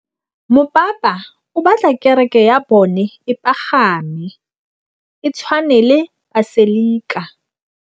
Mopapa o batla kereke ya bone e pagame, e tshwane le paselika.